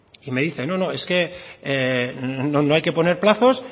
y me dice no es que no hay que poner plazos